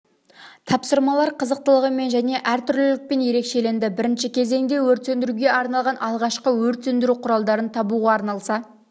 тапсырмалар қызықтылығымен және әртүрлілікпен ерекшеленді бірінші кезеңде өрт сөндіруге арналған алғашқы өрт сөндіру құралдарын табуға арналса